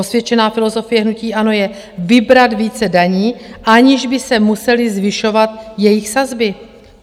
Osvědčená filozofie hnutí ANO je vybrat více daní, aniž by se musely zvyšovat jejich sazby.